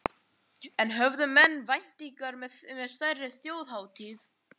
En höfðu menn væntingar með stærri þjóðhátíð?